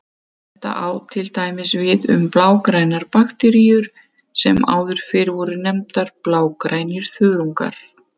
Þetta á til dæmis við um blágrænar bakteríur sem áður fyrr voru nefndar blágrænir þörungar.